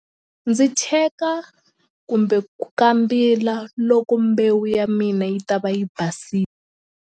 Ndzi cheka kumbe ku kambila loko mbewu ya mina yi ta va yi .